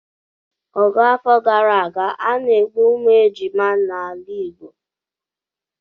Ọgụ afọ gara aga, a na-egbu ụmụ ejima n'ala Igbo